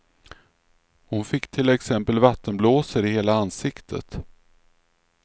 Hon fick till exempel vattenblåsor i hela ansiktet.